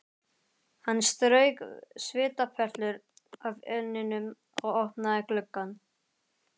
Hann strauk svitaperlur af enninu og opnaði gluggann.